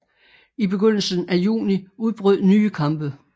I begyndelsen af juni udbrød nye kampe